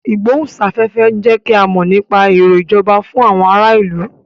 Ìgbóhùn sáfẹ́fẹ́ ń jẹ́ kí a mọ nípa èrò ìjọba fún àwọn ará ìlú